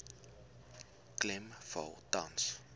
klem val tans